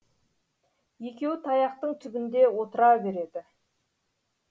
екеуі таяқтың түбінде отыра береді